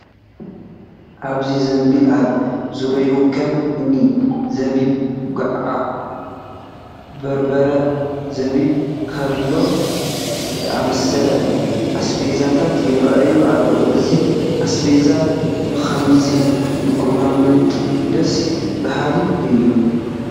ኣብዚ ዘንቢልን ኣብ ዙሪኡን ከም እኒ ዘቢብ፣ ጉዕ በርበረ፣ ዘቢብ፣ ካብሎ ዝኣምሰሉ ኣስቤዛታት ይርአዩ ኣለዉ፡፡ እዞም ኣስቤዛ ብኸምዚ ምቕማጦም ደስ በሃሊ እዩ፡፡